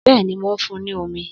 Bẹ́ẹ̀ni, mò ń fun ní omi.